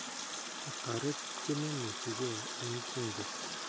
kotaret chememuchigei eng bunge